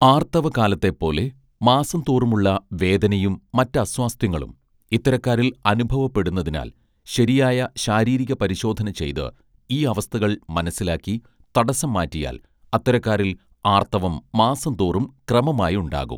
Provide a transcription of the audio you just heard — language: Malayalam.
ആർത്തവകാലത്തെപ്പോലെ മാസം തോറുമുള്ള വേദനയും മറ്റസ്വാസ്ഥ്യങ്ങളും ഇത്തരക്കാരിൽ അനുഭവപ്പെടുന്നതിനാൽ ശരിയായ ശാരീരിക പരിശോധന ചെയ്ത് ഈ അവസ്ഥകൾ മനസ്സിലാക്കി തടസ്സം മാറ്റിയാൽ അത്തരക്കാരിൽ ആർത്തവം മാസം തോറും ക്രമമായുണ്ടാകും